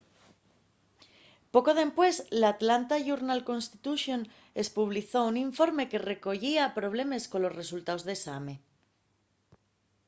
poco dempués l'atlanta journal-constitution espublizó un informe que recoyía problemes colos resultaos d'esame